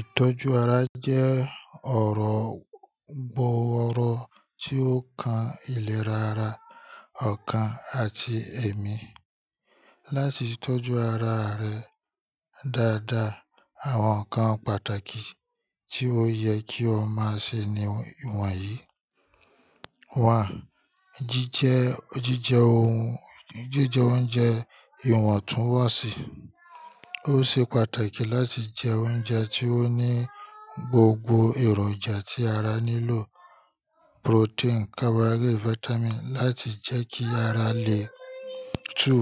Ìtọ́jú ara jẹ́ ọ̀rọ̀ gbọ́ ọrọ̀ tí ó kan ìlera ara, ọkàn àti ẹ̀mí. Láti tọ́jú ara rẹ dáadáa, àwọn nǹkan pàtàkì tí ó yẹ kí o máa ṣe ni ìwọ̀n yìí: jíjẹ oúnjẹ ìwọ̀ntúnwọ̀nsì. Ó ṣe pàtàkì láti jẹ oúnjẹ tí ó ní gbogbo èròjà tí ara nílò protein, carbohydrate, vitamin láti jẹ́ kí ara lè tú.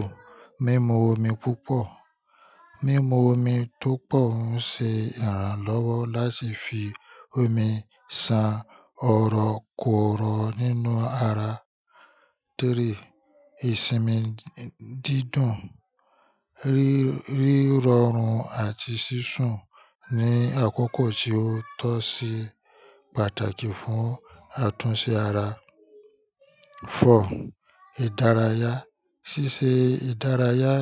Mímu omi púpọ̀. Mímu omi tó pọ̀ ń ṣe ìrànlọ́wọ́ láti fi omi san ọ̀rọ̀ kọ̀ọ̀rọ̀ nínú ara. Ìsinmi dídùn, rí rọrùn àti sísún ní àkókò tí ó tọ́ sì pàtàkì fún àtúnṣe ara. Ìdárayá. Síse ìdárayá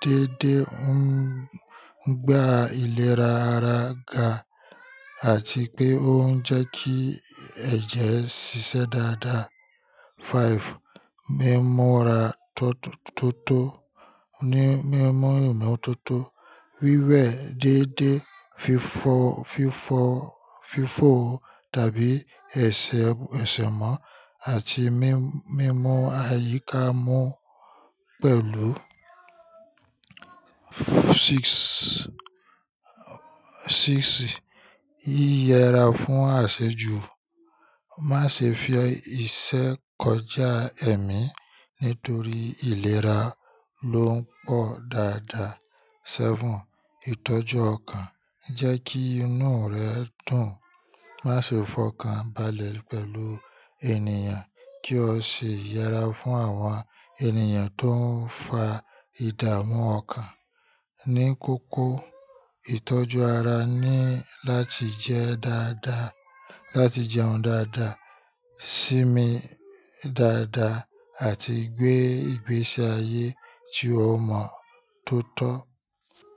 déédéé ń gbe ìlera ara ga àti pé ó ń jẹ́ kí ẹ̀jẹ̀ ṣiṣẹ́ dáadáa. Mímu omi tiótó. Wíwẹ̀ déédéé, fífọ, fífọ, fífò tàbí ẹ̀ṣẹ̀, ẹ̀ṣẹ̀ mọ́ àti mímú, mímu àyíká mú pẹ̀lú. Yí yẹra fún àṣejù. Má ṣe fẹ́ iṣẹ́ kọjá ẹ̀mí nítorí ìlera ló ń pọ̀ dáadáa. Ìtọ́jú ọkàn. Jẹ́ kí inú rẹ dùn. Má ṣe fọkàn balẹ̀ pẹ̀lú ènìyàn kí o sì yẹra fún àwọn ènìyàn tó ń fa ìdààmú ọkàn. Ní kókó, ìtọ́jú ara ni láti jẹ́ dáadáa, láti jẹun dáadáa, sinmi dáadáa àti gbé ìgbésí ayé tí o mọ tó tọ́.